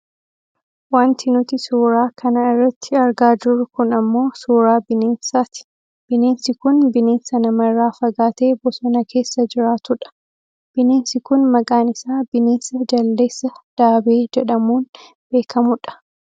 Wanti nuti suuraa kana irratti argaa jirru kun ammoo suuraa bineensaati. Bineensi kun bineensa namarraa fagaatee bosona keessa jiraatu dha. Bineensi kun maqaan isaa Bineensa jaldeessa daabee jedhamuun beekkamu dha.